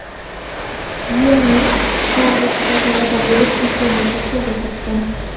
Ya’ni Garvardda talaba bo‘lish imkoniyatini qo‘lga kiritdim.